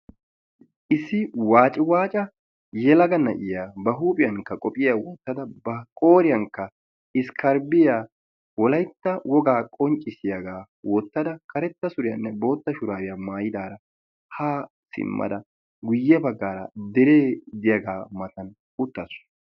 Issi waaciwaaca yelaga na"iya ba huiphiyankka qophiya wottada ba qooriyankka wolaytta wogaa qonccissiyagaa wottada karetta suriyanne bootta shuraabiya maayidaara haa simnada guyye baggaara deree diyagaa matan uttaasu.